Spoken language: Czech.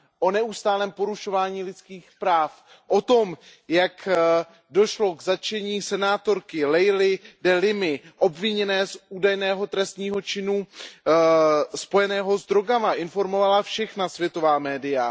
O neustálém porušování lidských práv, o tom, jak došlo k zatčení senátorky Leily de Limaové obviněné z údajného trestního činu spojeného s drogami, informovala všechna světová média.